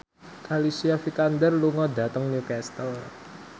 Alicia Vikander lunga dhateng Newcastle